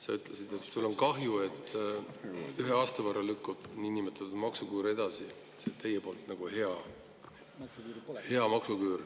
Sa ütlesid, et sul on kahju, et ühe aasta võrra lükkub niinimetatud maksuküür edasi, teie arust nagu hea maksuküür …